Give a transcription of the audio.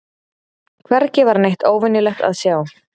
Hvergi var neitt óvenjulegt að sjá.